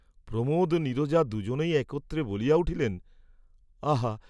প্রমোদ ও নীরজা দুজনেই একত্রে বলিয়া উঠিলেন, আহা!